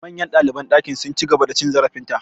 Manyan ɗaliban ɗakin su, sun ci gaba da cin zarafin ta.